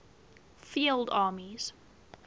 field armies